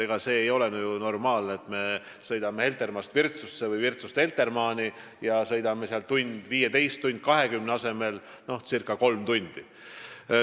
Ega see ei ole normaalne, et me sõidame Heltermaalt Virtsu või Virtsust Heltermaale ja sõit kestab ühe tunni ja 15–20 minuti asemel circa kolm tundi.